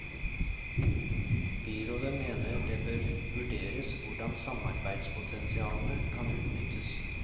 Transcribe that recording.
Byrådet mener det bør vurderes hvordan samarbeidspotensialene kan utnyttes.